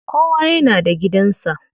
Kowa yana da gidan sa.